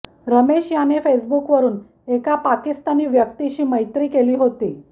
रमेश याने फेसबुक वरून एका पाकिस्तानी व्यक्तिशी मैत्री केली होती